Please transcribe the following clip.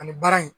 Ani baara in